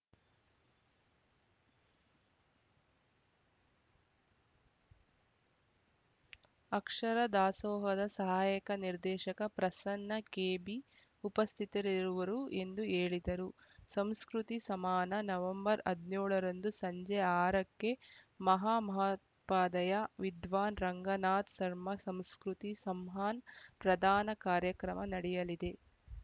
ಅಕ್ಷರ ದಾಸೋಹದ ಸಹಾಯಕ ನಿರ್ದೇಶಕ ಪ್ರಸನ್ನ ಕೆಬಿ ಉಪಸ್ಥಿತರಿರುವರು ಎಂದು ಹೇಳಿದರು ಸಂಸ್ಕೃತಿ ಸಮಾನ ನವೆಂಬರ್‌ ಹದಿನೇಳ ರಂದು ಸಂಜೆ ಆರ ಕ್ಕೆ ಮಹಾ ಮಹೋಪಾಧ್ಯಾಯ ವಿದ್ವಾನ್‌ ರಂಗನಾಥ್‌ ಸರ್ಮ ಸಂಸ್ಕೃತಿ ಸಂಮಾನ್‌ ಪ್ರದಾನ ಕಾರ್ಯಕ್ರಮ ನಡೆಯಲಿದೆ